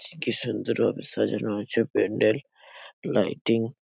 চি কি সুন্দর ভাবে সাজানো আছে প্যান্ডেল লাইটিং ।